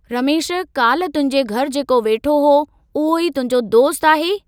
रमेश, कल्ह तुंहिंजे घरू जेको वेठो हुओ, उहो ई तुंहिंजो दोस्तु आहे?